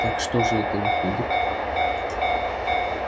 так что же это выходит